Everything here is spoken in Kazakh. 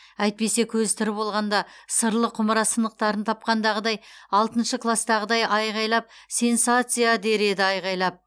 әйтпесе көзі тірі болғанда сырлы құмыра сынықтарын тапқандағыдай алтыншы кластағыдай алақайлап сенсация дер еді айқайлап